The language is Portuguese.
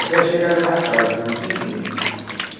Até a chegada da casa, que não tinha igreja.